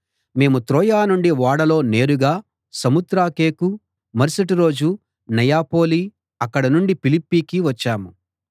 మేము త్రోయ నుండి ఓడలో నేరుగా సమొత్రాకెకు మరుసటి రోజు నెయపొలి అక్కడ నుండి ఫిలిప్పీకి వచ్చాము